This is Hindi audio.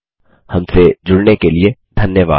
हमसे जुड़ने के लिए धन्यवाद